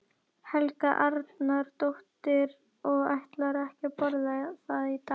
Helga Arnardóttir: Og ætlarðu ekki að borða það í dag?